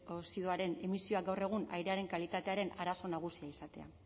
oxidoaren emisioak gaur egun airearen kalitatearen arazo nagusia izatea